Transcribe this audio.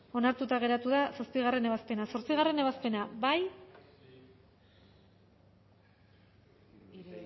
onartuta geratu da zazpigarrena ebazpena zortzigarrena ebazpena bozkatu